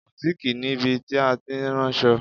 Bùtíìkì níbi tí a ti ń raṣọ.